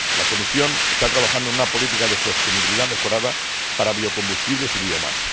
La Comisión está trabajando en una política de sostenibilidad mejorada para biocombustibles y biomasa.